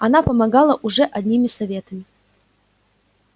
она помогала уже одними советами